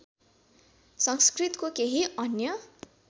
संस्कृतको केही अन्य